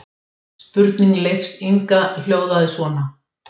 Spurning Leifs Inga hljóðaði svona: